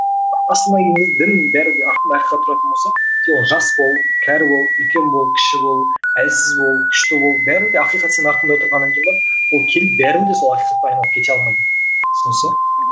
асылына келген кезде дін бәрі де артында ақиқат тұратын болса сен ол жас бол кәрі бол үлкен бол кіші бол әлсіз бол күшті бол бәрібір де ақиқат сенің артында тұрғаннан кейін барып ол келіп бәрібір де сол ақиқатты айналып кете алмайды түсінесіз бе мхм